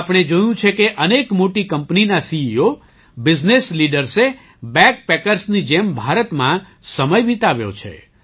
આપણે જોયું છે કે અનેક મોટી કંપનીના સીઇઓ બિઝનેસ લીડર્સે બૅગ પૅકર્સની જેમ ભારતમાં સમય વિતાવ્યો છે